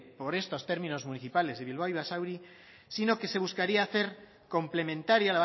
por estos términos municipales de bilbao y basauri sino que se buscaría hacer complementaria